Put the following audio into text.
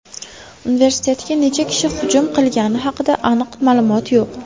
Universitetga necha kishi hujum qilgani haqida aniq ma’lumot yo‘q.